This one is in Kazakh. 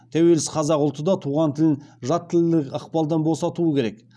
тәуелсіз қазақ ұлты да туған тілін жат тілдік ықпалдан босатуы керек